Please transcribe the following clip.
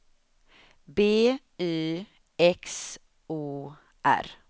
B Y X O R